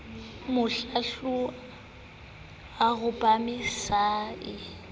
mohlohlwa o rapame se a